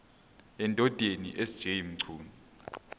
endodeni sj mchunu